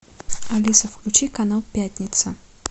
алиса включи канал пятница